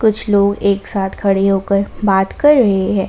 कुछ लोग एक साथ खड़े होकर बात कर रहे हैं।